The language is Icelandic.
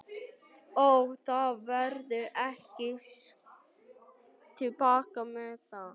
Brynja: Og það verður ekki stigið til baka með það?